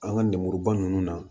An ka lemuruba ninnu na